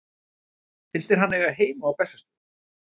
Finnst þér hann eiga heima á Bessastöðum?